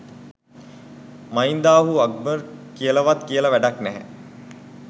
මහින්දාහු අක්බර් කියලවත් කියල වැඩක් නෑ